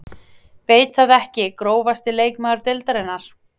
Veit það ekki Grófasti leikmaður deildarinnar?